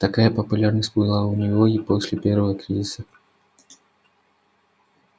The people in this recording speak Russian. такая популярность была у него и после первого кризиса